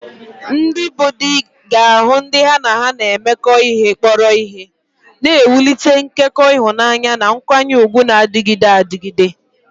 Ndị bụ́ di ga-ahụ ndị ha na ha na-emekọ ihe kpọrọ ihe, na-ewulite nkekọ ịhụnanya na nkwanye ùgwù na-adịgide adịgide.